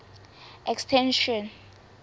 extension